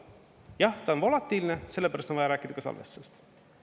Jah, ta on volatiilne, sellepärast on vaja rääkida ka salvestustest.